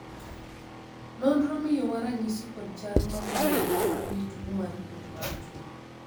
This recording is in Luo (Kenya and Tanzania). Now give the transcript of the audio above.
nonro miyowa ranyisi kod chal maluwogi ne tuo mar kuot mar chuny